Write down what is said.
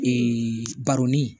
baronni